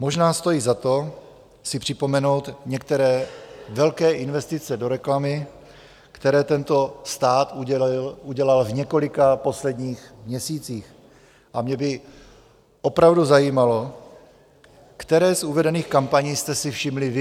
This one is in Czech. Možná stojí za to si připomenout některé velké investice do reklamy, které tento stát udělal v několika posledních měsících, a mě by opravdu zajímalo, které z uvedených kampaní jste si všimli vy.